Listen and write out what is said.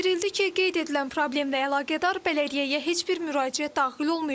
Bildirildi ki, qeyd edilən problemlə əlaqədar bələdiyyəyə heç bir müraciət daxil olmayıb.